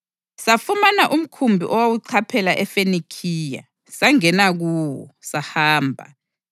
Safumana umkhumbi owawuchaphela eFenikhiya, sangena kuwo, sahamba.